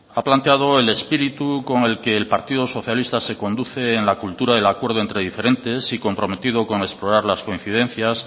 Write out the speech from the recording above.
ha planteado el espíritu con el que el partido socialista se conduce en la cultura del acuerdo entre diferentes y comprometido con explorar las coincidencias